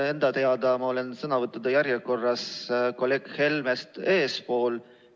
Enda teada olen ma sõnavõttude järjekorras kolleeg Helmest eespool.